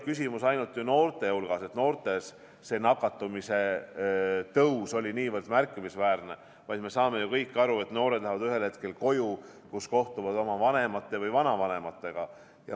Küsimus ei olnud ju ainult selles, et noorte seas oli nakatumise tõus niivõrd märkimisväärne, vaid me saame ju kõik aru, et noored lähevad ühel hetkel koju, kus nad kohtuvad oma vanemate või vanavanematega.